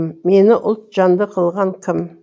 мені ұлт жанды қылған кім